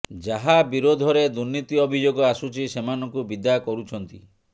ଯାହା ବିରୋଧରେ ଦୁର୍ନୀତି ଅଭିଯୋଗ ଆସୁଛି ସେମାନଙ୍କୁ ବିଦା କରୁଛନ୍ତି